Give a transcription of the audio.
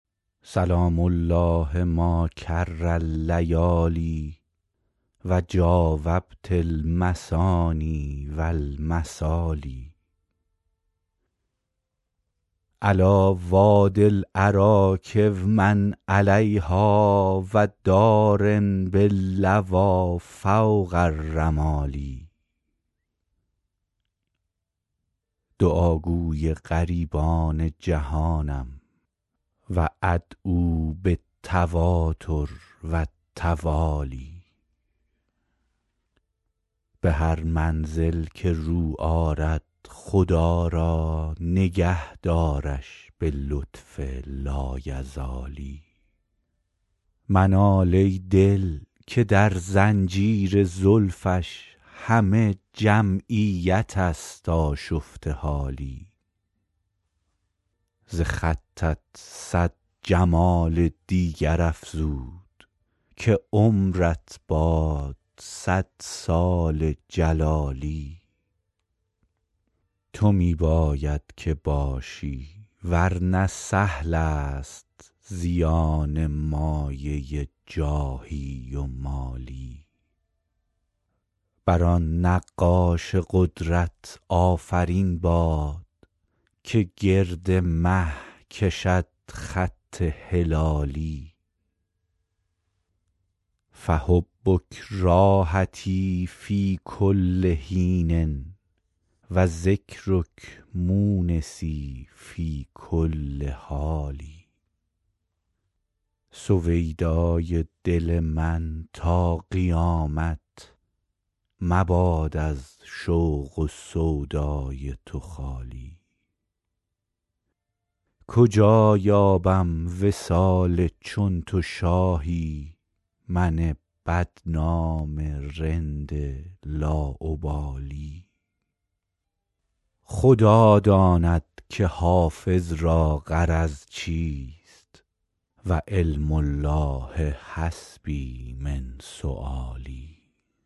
سلام الله ما کر اللیالی و جاوبت المثاني و المثالي علیٰ وادي الأراک و من علیها و دار باللویٰ فوق الرمال دعاگوی غریبان جهانم و أدعو بالتواتر و التوالي به هر منزل که رو آرد خدا را نگه دارش به لطف لایزالی منال ای دل که در زنجیر زلفش همه جمعیت است آشفته حالی ز خطت صد جمال دیگر افزود که عمرت باد صد سال جلالی تو می باید که باشی ور نه سهل است زیان مایه جاهی و مالی بر آن نقاش قدرت آفرین باد که گرد مه کشد خط هلالی فحبک راحتی فی کل حین و ذکرک مونسی فی کل حال سویدای دل من تا قیامت مباد از شوق و سودای تو خالی کجا یابم وصال چون تو شاهی من بدنام رند لاابالی خدا داند که حافظ را غرض چیست و علم الله حسبي من سؤالي